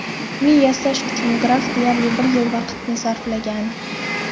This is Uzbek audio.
Uni yasash uchun graf deyarli bir yil vaqtini sarflagan.